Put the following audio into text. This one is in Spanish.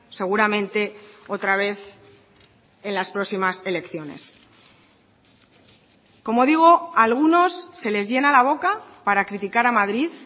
seguramente otra vez en las próximas elecciones como digo a algunos se les llena la boca para criticar a madrid